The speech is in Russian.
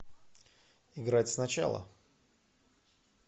играть сначала